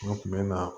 U kun bɛ na